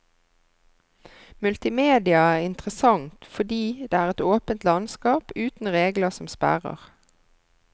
Multimedia er interessant fordi det er et åpent landskap, uten regler som sperrer.